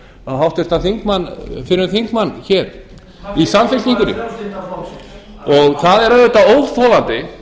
sem háttvirtur þingmaður fyrrum þingmann hér í samfylkingunni það er auðvitað óþolandi